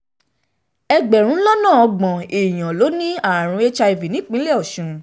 ẹgbẹ̀rún lọ́nà ọgbọ̀n èèyàn ló ní àrùn hiv nípínlẹ̀ ọ̀sùn